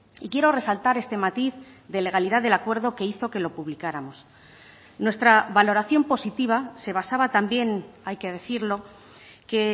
y quiero resaltar este matiz de legalidad del acuerdo que hizo que lo publicáramos nuestra valoración positiva se basaba también hay que decirlo que